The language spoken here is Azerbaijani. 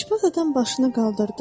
İşbaz adam başını qaldırdı.